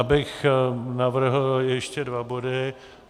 ... abych navrhl ještě dva body.